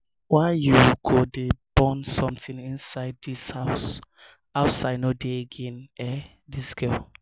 why you go dey burn something inside dis um house? outside no dey again eh um dis girl?